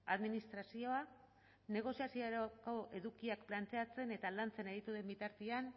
administrazioa negoziaziorako edukiak planteatzen eta lantzen aritu den bitartean